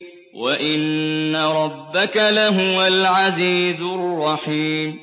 وَإِنَّ رَبَّكَ لَهُوَ الْعَزِيزُ الرَّحِيمُ